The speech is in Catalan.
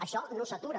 això no s’atura